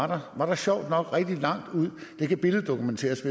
der var der sjovt nok rigtig langt det kan billeddokumenteres